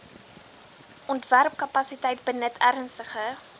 ontwerpkapasiteit benut ernstige